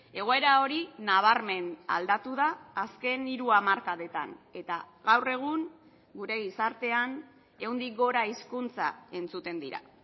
egoera hori nabarmen aldatu da azken hiru hamarkadetan eta gaur egun gure gizartean ehundik gora hizkuntza entzuten dira